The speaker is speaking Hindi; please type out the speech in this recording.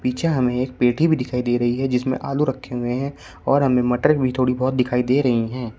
पीछे हमें एक पेठी भी दिखाई दे रही है जिसमें आलू भी रखे हुए हैं और हमें मटर भी थोड़ी बहोत दिखाई दे रही हैं।